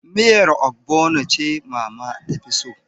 Miyar Ogbono ce mama ta fi so